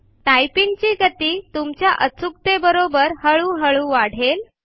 typing ची गती तुमच्या अचूकते बरोबर हळू हळू वाढेल